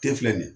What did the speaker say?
Te filɛ nin ye